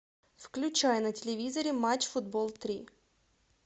включай на телевизоре матч футбол три